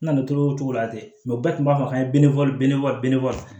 N na na to o cogo la ten bɛɛ tun b'a fɔ k'an ye